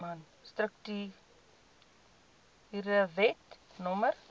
strukture wet no